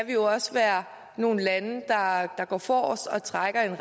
jo også være nogle lande der går forrest og trækker i en